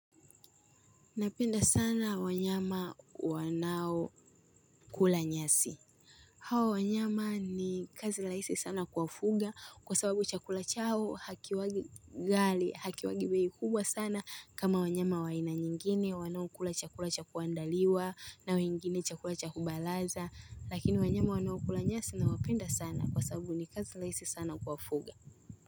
Napenda sana wanyama wanao kula nyasi. Hawa wanyama ni kazi laisi sana kuwafuga kwa sababu chakula chao hakiwagi gali hakiwagi bei kubwa sana kama wanyama wa aina nyingine wanao kula chakula cha kuandaliwa na wengine chakula cha kubalaza lakini wanyama wanao kula nyasi na wapenda sana kwa sababu ni kazi laisi sana kuwafuga.